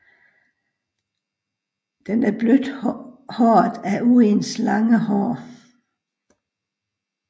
Den er blødt håret af uens lange hår